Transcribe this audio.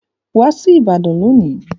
Wá sí ìbàdàn lónìí.